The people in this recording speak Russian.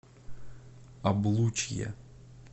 облучье